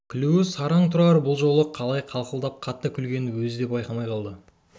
күлуі сараң тұрар бұл жолы қалай қарқылдап қатты күлгенін өзі де байқамай қалды